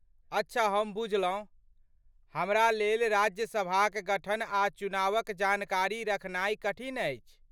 अच्छा हम बुझलहुँ। हमरालेल राज्य सभाक गठन आ चुनावक जानकारी रखनाइ कठिन अछि।